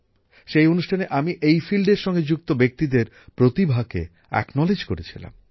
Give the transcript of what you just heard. সেই অনুষ্ঠানে আমি এই বিষয়ের সঙ্গে যুক্ত ব্যক্তিদের প্রতিভাকে স্বীকৃতি দিয়েছিলাম